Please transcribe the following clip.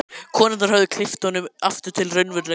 Konurnar höfðu kippt honum aftur til raunveruleikans.